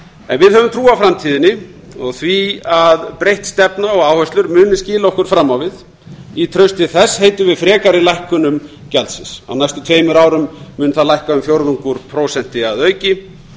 en við höfum trú á framtíðinni og því að breytt stefna og áherslur munu skila okkur fram á við í trausti þess heitum við frekari lækkunum gjaldsins á næstu tveimur árum mun það lækka um fjórðung úr prósenti að auki